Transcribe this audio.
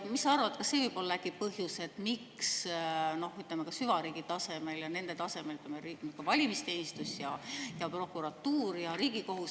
Mis sa arvad, kas see võib olla põhjus, miks, ütleme, ka süvariigi tasemel ja nende tasemel, nagu riigi valimisteenistus ja prokuratuur ja Riigikohus …